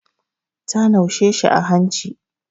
Ta naushe shi a hanci.